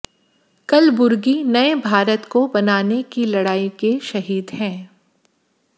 कलबुर्गी नए भारत को बनाने की लड़ाई के शहीद हैं